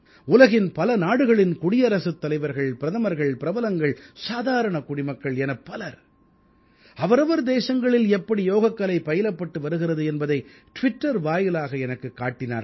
உலகின் பல நாடுகளின் குடியரசுத் தலைவர்கள் பிரதமர்கள் பிரபலங்கள் சாதாரண குடிமக்கள் என பலர் அவரவர் தேசங்களில் எப்படி யோகக்கலை பயிலப்பட்டு வருகிறது என்பதை டிவிட்டர் வாயிலாக எனக்குக் காட்டினார்கள்